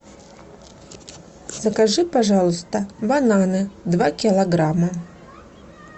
закажи пожалуйста бананы два килограмма